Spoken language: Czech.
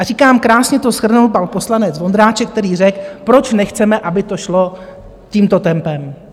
A říkám, krásně to shrnul pan poslanec Vondráček, který řekl, proč nechceme, aby to šlo tímto tempem.